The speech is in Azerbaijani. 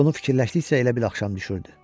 Bunu fikirləşdikcə elə bil axşam düşürdü.